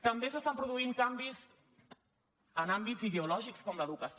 també s’estan produint canvis en àmbits ideològics com l’educació